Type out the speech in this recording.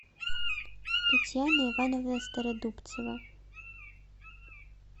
татьяна ивановна стародубцева